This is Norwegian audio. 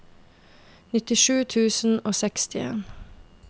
nittisju tusen og sekstien